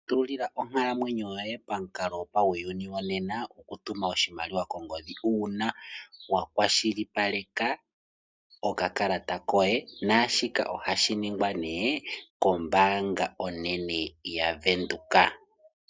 Tulila onkalamwenyo yoye pamukalo gopauyuni wonena okutuma oshimaliwa kongodhi uuna wakwashilipaleka okakalata koye naashika ohashi ningwa nee kombaanga onene yaVenduka.